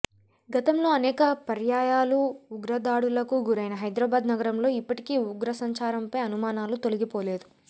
గతంలో అనేక పర్యాయాలు ఉగ్రదాడులకు గురైన హైదరాబాద్ నగరంలో ఇప్పటికీ ఉగ్రసంచారంపై అనుమానాలు తొలగిపోలేదు